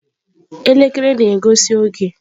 Elekere na-egosi oge.